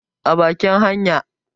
a bakin hanya?